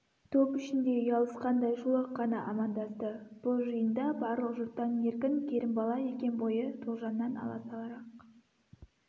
топ ішінде ұялысқандай шолақ қана амандасты бұл жиында барлық жұрттан еркін керімбала екен бойы тоғжаннан аласарақ